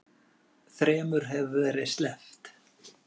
Þremur hefur verið sleppt